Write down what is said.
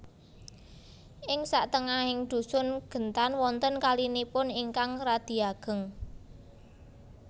Ing satengahing dhusun Gentan wonten kalinipun ingkang radi ageng